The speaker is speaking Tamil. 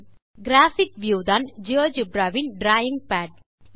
கிராபிக் வியூ தான் ஜியோஜெப்ரா வின் டிராவிங் பாட்